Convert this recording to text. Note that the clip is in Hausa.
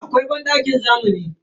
Akwai bandakin zamani.